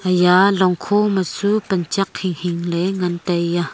iya longkhu ma chu panchak hinghing ley ngantaiya.